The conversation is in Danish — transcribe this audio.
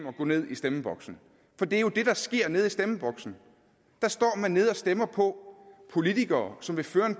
at gå ned i stemmeboksen for det er jo det der sker nede i stemmeboksen der står man nede og stemmer på politikere som vil føre en